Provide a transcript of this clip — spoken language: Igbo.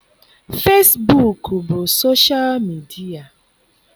Fesbuk bụ soshal midia.